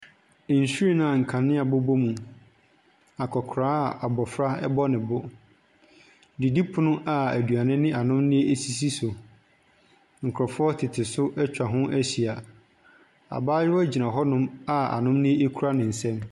Nhwiren a kanea bobɔ mu, akɔkora abɔfra ɛbɔ ne bo. Didi pono a eduane ne anomdeɛ esisi so, nkorɔfoɔ tete so etwa ho ehyia. Abaayewa gyina hɔ nom a anomdeɛ ekura ne nsa mu.